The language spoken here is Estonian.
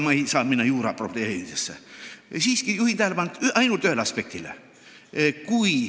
Ma ei saa juura probleemidesse sisse minna, aga juhin siiski tähelepanu ühele aspektile.